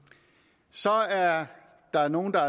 så er der nogle der